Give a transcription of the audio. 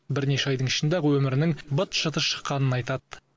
бірнеше айдың ішінде ақ өмірінің быт шыты шыққанын айтады